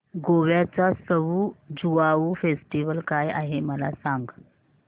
गोव्याचा सउ ज्युआउ फेस्टिवल काय आहे मला सांग